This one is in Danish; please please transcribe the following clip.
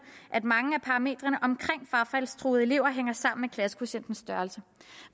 at mange af parametrene omkring frafaldstruede elever hænger sammen med klassekvotientens størrelse